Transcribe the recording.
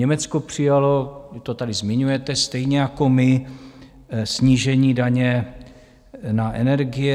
Německo přijalo - to tady zmiňujete, stejně jako my - snížení daně na energie.